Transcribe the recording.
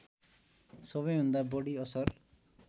सबैभन्दा बढी असर